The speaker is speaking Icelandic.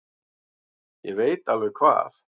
Ég veit alveg hvað